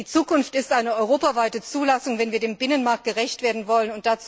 Die Zukunft ist eine europaweite Zulassung, wenn wir dem Binnenmarkt gerecht werden wollen.